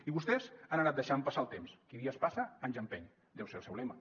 i vostès han anat deixant passar el temps qui dies passa anys empeny deu ser el seu lema